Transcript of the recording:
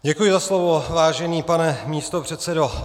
Děkuji za slovo, vážený pane místopředsedo.